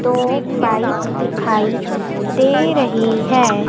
दो पाइप दिखाई दे रही है।